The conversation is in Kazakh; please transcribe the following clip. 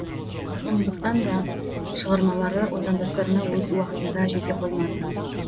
сондықтан да шығармалары отандастарына өз уақытында жете қоймады